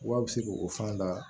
Wa a bɛ se k'o fana da